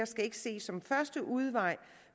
skal ses som første udvej